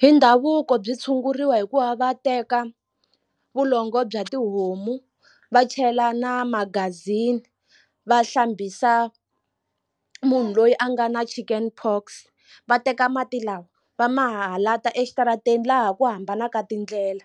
Hi ndhavuko byi tshunguriwa hi ku va va teka vulongo bya tihomu va chela na magazini va hlambisa munhu loyi a nga na chicken pox va teka mati lawa va mahala ta exitarateni laha ku hambanaka tindlela